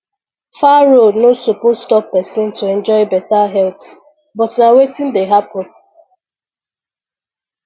far road no suppose stop person to enjoy better health but na wetin dey happen